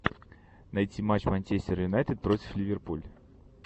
найти матч манчестер юнайтед против ливерпуль